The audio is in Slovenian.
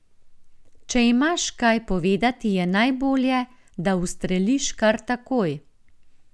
Če imaš kaj povedati, je najbolje, da ustreliš kar takoj.